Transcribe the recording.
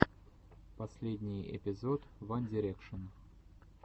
последний эпизод ван дирекшен